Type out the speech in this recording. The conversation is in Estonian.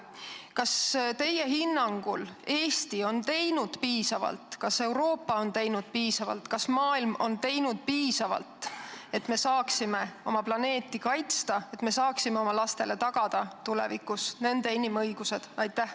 Kas teie hinnangul on Eesti teinud piisavalt, kas Euroopa on teinud piisavalt, kas maailm on teinud piisavalt, et me saaksime oma planeeti kaitsta, et me saaksime oma lastele tagada tulevikus nende inimõigused?